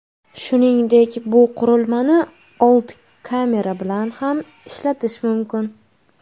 Shuningdek, bu qurilmani old kamera bilan ham ishlatish mumkin.